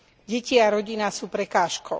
Deti a rodina sú prekážkou.